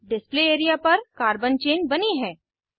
display area पर carbon chain बनी है